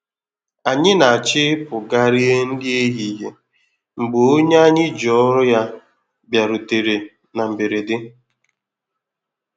Ànyị n'acho ịpụ gaa rie nri ehihie mgbe onye anyị ji ọrụ ya bịarutere na mberede.